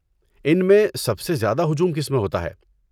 ان میں سب سے زیادہ ہجوم کس میں ہوتا ہے؟